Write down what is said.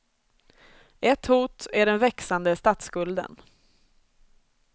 Ett hot är den växande statsskulden.